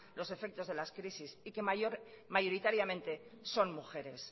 los efectos de la crisis y que mayoritariamente son mujeres